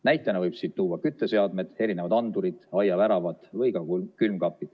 Näitena võib siin tuua kütteseadmed, erinevad andurid, aiaväravad või ka külmkapi.